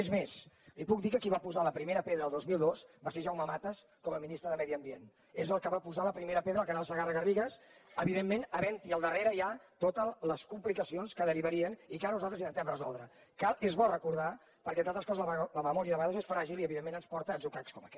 és més li puc dir que qui va posar la primera pedra el dos mil dos va ser jaume matas com a ministre de medi ambient és el que va posar al primera pedra al canal segarragarrigues evidentment havent hi al darrere ja totes les complicacions que derivarien i que ara nosaltres intentem resoldre que és bo recordar perquè entre altres coses la memòria a vegades és fràgil i evidentment ens porta a atzucacs com aquest